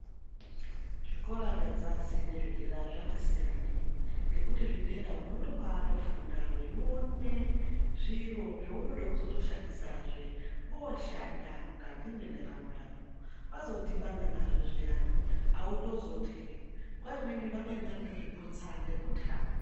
Zvikora zvedzasi nezvedera zvatisiyane ngekuti zvedera unobatofunda veiona zviro zvaunenge uchida kushandisahe voshanda mukati mendaramo yako wazodhibana nazvo zviyani autozotyi nguwa imweni vamweni vanozviputsa nekutya.